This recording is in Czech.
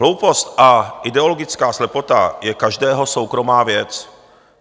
Hloupost a ideologická slepota je každého soukromá věc.